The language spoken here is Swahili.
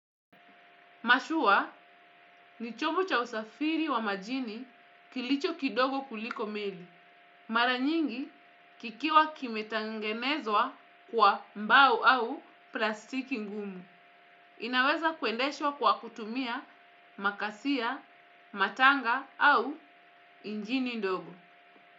Mashua ni chombo cha usafiri wa majini kilicho kidogo kuliko meli. Mara nyingi kikiwa kimetangenezwa kwa mbao au plastiki ngumu. Inaweza kuendeshwa kwa kutumia makasia, matanga au injini ndogo.